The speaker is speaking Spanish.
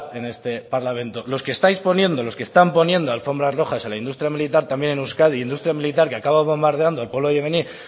en este parlamento los que estáis poniendo los que están alfombras rojas a la industria militar también en euskadi industria militar que acaba bombardeando al pueblo iraní